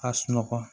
A sunɔgɔ